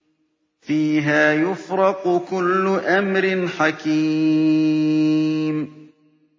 فِيهَا يُفْرَقُ كُلُّ أَمْرٍ حَكِيمٍ